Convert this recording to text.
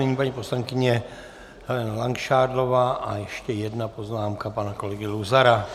Nyní paní poslankyně Helena Langšádlová a ještě jedna poznámka pana kolegy Luzara.